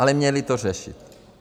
Ale měli to řešit.